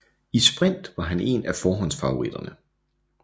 I sprint var han en af forhåndsfavoritterne